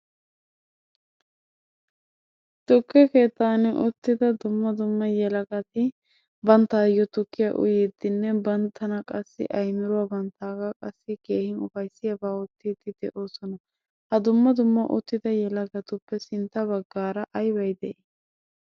Tukke keettan uttida dumma dumma yelagati banttayo tukkiya uytidinne bantta qassi aymiruwa banttaaga qassi keehin upayssiyaaba oottide de'oosona. Ha dumma dumma uttida yelagatuppe sintta baggaara aybbay de'i?